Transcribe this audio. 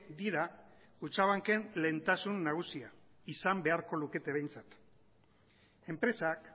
dira kutxabanken lehentasun nagusia izan beharko lukete behintzat enpresak